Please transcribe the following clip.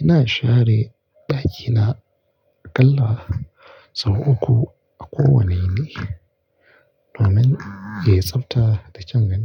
Ina share ɗakina aƙalla sau uku a kowane rana domin yayi tsabta da kyan gani.